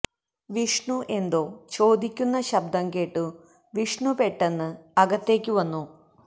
വിഷ്ണു എന്തോ ചോദിക്കുന്ന ശബ്ദം കേട്ടു വിഷ്ണു പെട്ടെന്ന് അകത്തേയ്ക്കു വന്നു